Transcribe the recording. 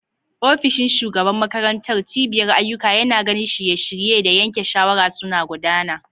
Ofishin shugaban makarantar, cibiyar ayyuka, yana ganin shirye-shirye da yanke shawara suna gudana.